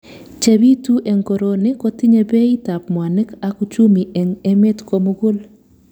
Chepitu eng koroni kotinyei beit ap mwanik.ak Uchumi eng emet komugul